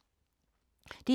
DR K